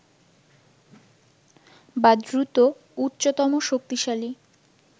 বা দ্রুত, উচ্চতম শক্তিশালী